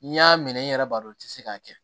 N'i y'a minɛ i yɛrɛ b'a dɔn i ti se k'a kɛ